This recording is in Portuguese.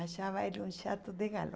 Achava ele um chato de